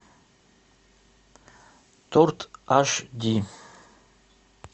торт аш ди